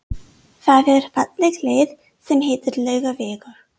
Það er falleg leið sem heitir Laugavegur.